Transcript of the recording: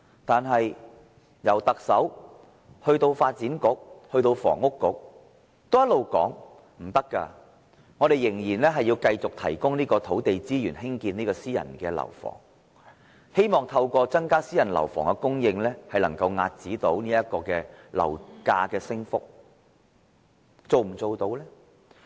可是，從特首到發展局，以至是運輸及房屋局也一直表示這方向不可行，指出當局必須繼續提供土地資源興建私人樓房，透過增加私人樓房供應來遏止樓價升幅。